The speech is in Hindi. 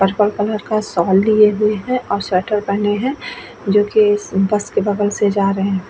पर्पल कलर का शॉल लिए हुए है और स्वेटर पहने है जो कि इस बस के बगल से जा रहे --